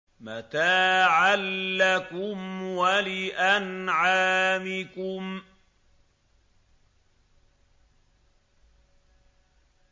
مَتَاعًا لَّكُمْ وَلِأَنْعَامِكُمْ